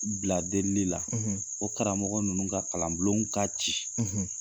U bila delili la, o karamɔgɔ ninnu ka kalan bulon ka ci